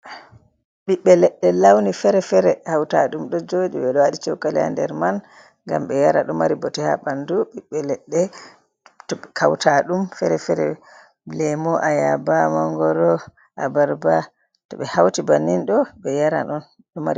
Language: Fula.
Biɓɓe leɗɗe launi fere-fere hautaɗum ɗo joɗi ɓeɗo waɗi cokaliya ha nder man ngam be yara, ɗo mari bote ha ɓandu, ɓiɓɓe leɗɗe hautaɗum fere-fere lemo ayaba mangoro abarba, to ɓe hauti bannin ɗo ɓe yara on.